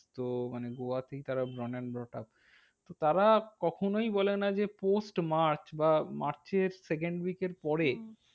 তো মানে গোয়াতেই তারা তারা কখনোই বলেনা যে post মার্চ বা মার্চের second week এর পরে হ্যাঁ